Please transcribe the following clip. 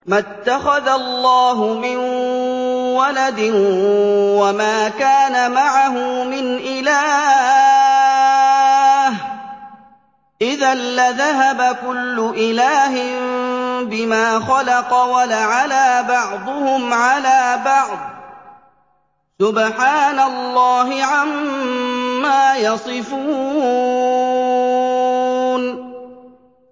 مَا اتَّخَذَ اللَّهُ مِن وَلَدٍ وَمَا كَانَ مَعَهُ مِنْ إِلَٰهٍ ۚ إِذًا لَّذَهَبَ كُلُّ إِلَٰهٍ بِمَا خَلَقَ وَلَعَلَا بَعْضُهُمْ عَلَىٰ بَعْضٍ ۚ سُبْحَانَ اللَّهِ عَمَّا يَصِفُونَ